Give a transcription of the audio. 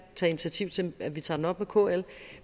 tage initiativ til at vi tager den op med kl